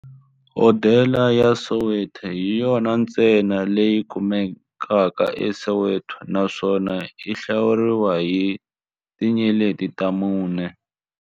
Hodela ya Soweto hi yona ntsena leyi kumekaka eSoweto, naswona yi hlawuriwa hi tinyeleti ta mune.